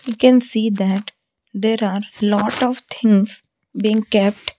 we can see that there are lot of things being kept.